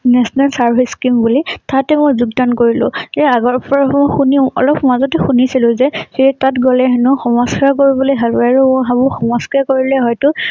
National Service Scheme বুলি। তাতে মই যোগদান কৰিলোঁ। ইয়াৰ আগৰ পৰা মই শুনি অলপ মাজতে শুনিছিল যে সেই তাত গলে হেনো সমস্যা কৰিবলৈ ভাল আৰু মই ভাবো সমস্যা কৰিলে হয়তো